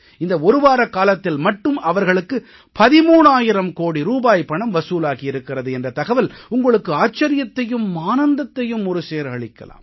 இந்த ஒரு வாரக்காலத்தில் மட்டும் அவர்களுக்கு 13000 கோடி ரூபாய் பணம் வசூலாகி இருக்கிறது என்ற தகவல் உங்களுக்கு ஆச்சரியத்தையும் ஆனந்தத்தையும் ஒருசேர அளிக்கலாம்